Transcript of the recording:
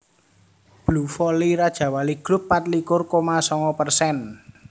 Blue Valley Rajawali Grup patlikur koma songo persen